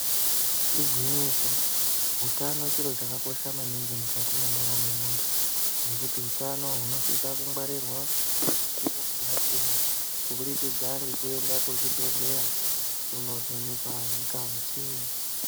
Igwinyiso utano chiro chakakosha maningi mukati mwendaramo yemuntu ngekuti utano hunosisa kungwarirwa mukuwo ngemukuwo kubudikidza ngekuenda kuzvibhedhleya kunovhenekwa ngazi.